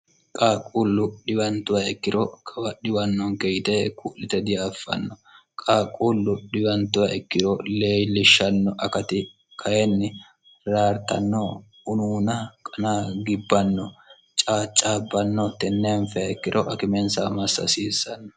qaaquullu dhiwantuwa ikkiro kawadhiwannonke yite ku'lite diaffanno qaaquullu dhiwantuwa ikkiro lei lishshanno akati kayinni raartanno unuuna qana gibbanno caaccaabbanno tenneenfea ikkiro akimensa massaasiissanno